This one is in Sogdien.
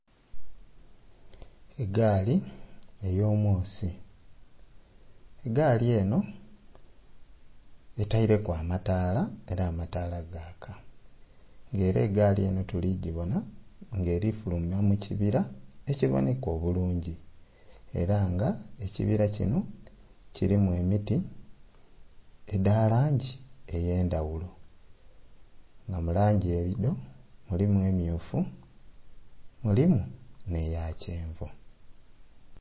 Egaali eyomwosi, gaali eno etaireku amataala era amataala gaaka nga era egaali eno tuligibona nga erifuluma mukibira ekiboneka obulungi era nga ekibira kino kirimu emiti dha langi eyendhaghulo nga mulangi eyo mulimu emmyufu, mulimu n'eya kyenvu.